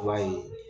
I b'a ye